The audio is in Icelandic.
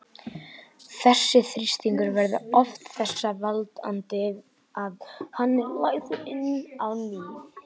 Þessi þrýstingur verður oft þess valdandi að hann er lagður inn á ný.